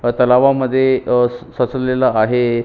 अ तलावा मध्ये अ सचवलेल आहे.